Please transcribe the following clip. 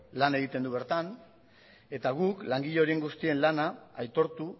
lan egiten du bertan eta guk langile horien guztien lana aitortu